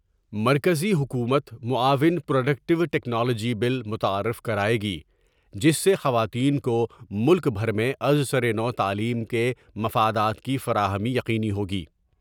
مرکزی حکومت معاون پروڈ یکٹیوٹیکنالوجی بل متعارف کرائے گی جس سے خواتین کو ملک بھر میں از سر نوتعلیم کے مفادات کی فراہمی یقینی ہوگی ۔